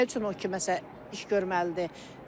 Nə üçün o kimsə iş görməlidir?